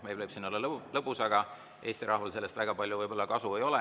Meil võib siin olla lõbus, aga Eesti rahval sellest võib‑olla väga palju kasu ei ole.